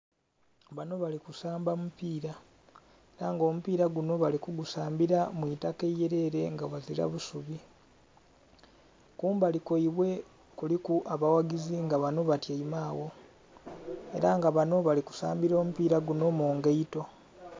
Banho bali kusamba omupira era nga omupira gunho bali kugusambila mw'itaka irere nga aghazira busubi, kumbali kwaibwe kuliku abaghagizi nga banho batyaime agho era nga banho bali kusambila mupira gunho mu ngaito.